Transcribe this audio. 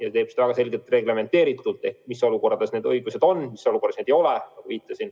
See teeb seda väga selgelt ja reglementeeritult: on teada, mis olukordades need õigused on ja mis olukordades neid ei ole.